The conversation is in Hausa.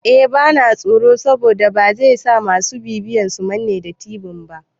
Eh bana tsoro saboda bazai sa masu bibiyan su manne da tibin ba